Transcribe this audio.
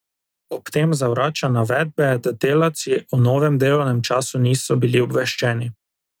Ob tem zavrača navedbe, da delavci o novem delovnem času niso bili obveščeni.